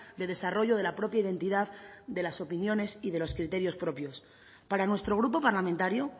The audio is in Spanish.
de desarrollo de la propia identidad de las opiniones y de los criterios propios para nuestro grupo parlamentario